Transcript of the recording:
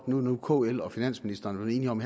når kl og finansministeren er enige om